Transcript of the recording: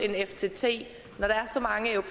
selv